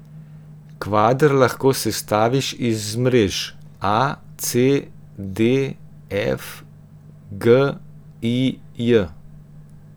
Kvader lahko sestaviš iz mrež a, c, d, f, g, i, j.